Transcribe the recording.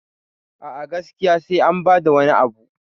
a a gaskiya sai an bada wani Abu